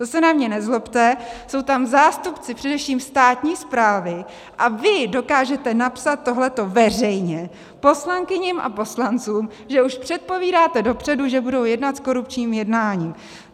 To se na mě nezlobte, jsou tam zástupci především státní správy a vy dokážete napsat tohle veřejně poslankyním a poslancům, že už předpovídáte dopředu, že budou jednat s korupčním jednáním.